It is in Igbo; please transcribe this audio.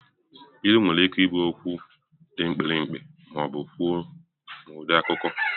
Ilu nwere ike ịbụ okwu dị mkpirikpi ma ọ bụ kwuo n'ụdị akụkọ.